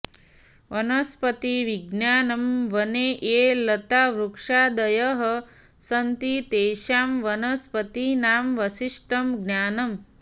वनस्पतिविज्ञानं वने ये लतावृक्षादयः सन्ति तेषां वनस्पतीनां विशिष्टं ज्ञानम्